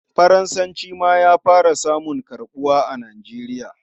Faransanci ma ya fara samun karɓuwa a Nigeria.